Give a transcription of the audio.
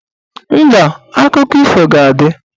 Mba, akụkọ ifo ga-adị